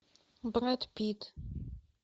брэд питт